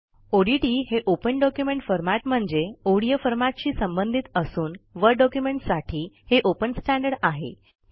ODT हे open document format म्हणजे ODF फॉरमॅटशी संबंधित असून वर्ड डॉक्युमेंटसाठी हे ओपन स्टँडर्ड आहे